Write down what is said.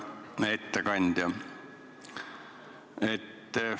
Hea ettekandja!